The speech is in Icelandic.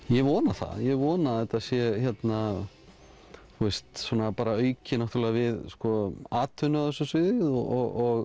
ég vona það ég vona að þetta sé hérna auki við atvinnu á þessu sviði og